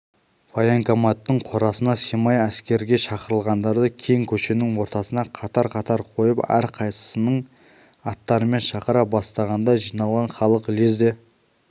военкоматтың қорасына сыймай әскерге шақырылғандарды кең көшенің ортасына қатар-қатар қойып әрқайсысының аттарымен шақыра бастағанда жиналған халық лезде